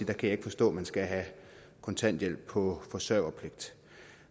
kan forstå at man skal have kontanthjælp på forsørgerpligt